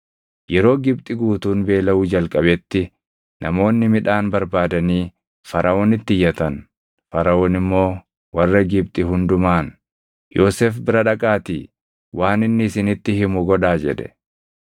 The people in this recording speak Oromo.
Yeroo Gibxi guutuun beelaʼuu jalqabetti namoonni midhaan barbaadanii Faraʼoonitti iyyatan; Faraʼoon immoo warra Gibxi hundumaan, “Yoosef bira dhaqaatii waan inni isinitti himu godhaa” jedhe.